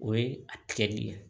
O ye a tigɛli ye